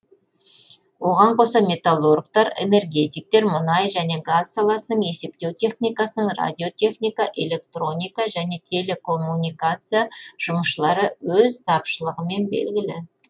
оған қоса металлургтар энергетиктер мұнай және газ саласының есептеу техникасының радиотехника электроника және телекоммуникация жұмысшылары өз тапшылығымен белгілі